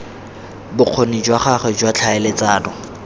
bokgoni jwa gagwe jwa tlhaeletsano